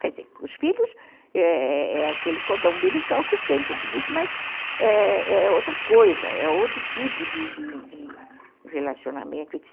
Quer dizer, os filhos é aquele cordão umbilical que tem, que eu te disse, mas é outra coisa, é outro tipo de de de de relacionamento, etc.